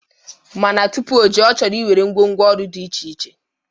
Mana tụpụ ojee, ọ chọrọ iwere ngwo ngwo ọrụ dị iche iche.